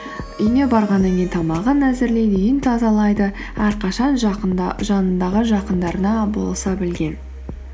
үйіне барғаннан кейін тамағын әзірлейді үйін тазалайды әрқашан жанындағы жақындарына болыса білген